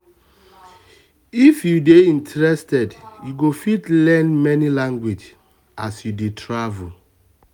if you dey um interested you go fit learn many language as you dey travel